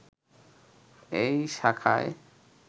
এই শাখায়